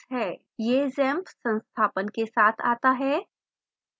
यह xampp संस्थापन के साथ it है